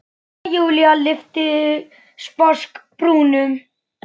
Jæja, Júlía lyfti sposk brúnum.